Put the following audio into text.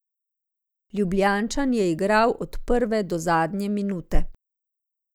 Ljubljančan je igral od prve do zadnje minute.